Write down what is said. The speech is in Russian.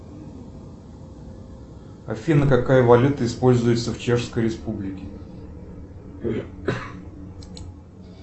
афина какая валюта используется в чешской республике